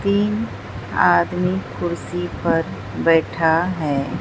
तीन आदमी कुर्सी पर बैठा है।